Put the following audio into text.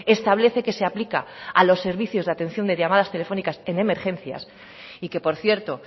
establece que se aplica a los servicios de atención de llamadas telefónicas en emergencias y que por cierto